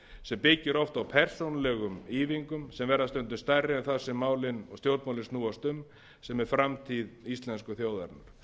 sem byggir oft á persónulegum ýfingum sem verða stundum stærri en það sem málin og stjórnmálin snúast um sem er framtíð íslensku þjóðarinnar þeim